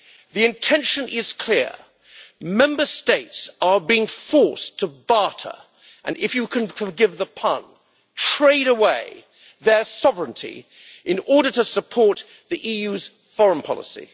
The intention is clear Member States are being forced to barter and if you can forgive the pun trade away their sovereignty in order to support the EU's foreign policy.